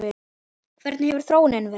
Hvernig hefur þróunin verið?